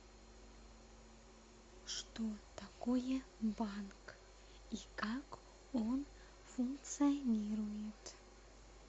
что такое банк и как он функционирует